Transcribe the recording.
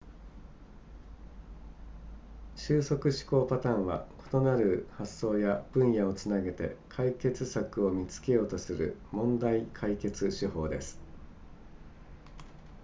収束思考パターンは異なる発想や分野をつなげて解決策を見つけようとする問題解決手法です